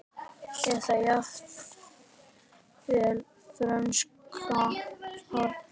Eða jafnvel frönsk horn?